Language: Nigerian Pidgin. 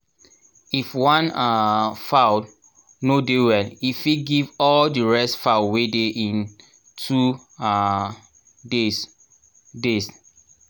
if one um fowl no um well e fit give all the rest fowl wey dey in two um days days